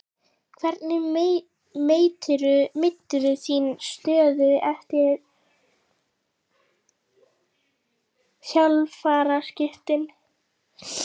Hvernig meturðu þína stöðu eftir þjálfaraskiptin?